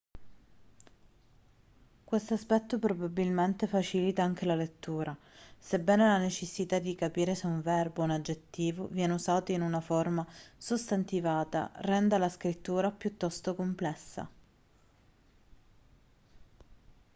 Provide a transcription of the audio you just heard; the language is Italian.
questo aspetto probabilmente facilita anche la lettura sebbene la necessità di capire se un verbo o un aggettivo viene usato in una forma sostantivata renda la scrittura piuttosto complessa